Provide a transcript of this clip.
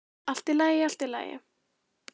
Allt í lagi, allt í lagi.